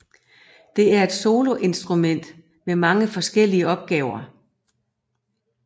Det er et soloinstrument med mange forskellige opgaver